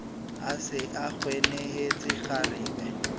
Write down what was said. a se a kwenehetse kgarebe